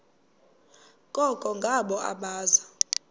koko ngabo abaza